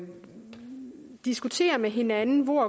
diskutere med hinanden hvor